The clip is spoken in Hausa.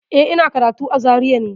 Eh, ina karatu a Zaria ne.